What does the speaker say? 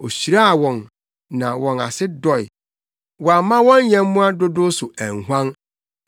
Ohyiraa wɔn na wɔn ase dɔe. Wamma wɔn nyɛmmoa dodow so anhuan.